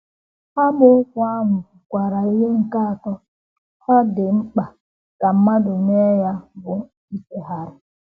Amaokwu ahụ kwukwara ihe nke atọ ọ ọ dị mkpa ka mmadụ mee — ya bụ, ichigharị.